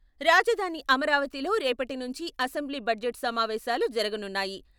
రాజధాని అమరావతిలో రేపటి నుంచి అసెంబ్లీ బడ్జెట్ సమావేశాలు జరగనున్నాయి.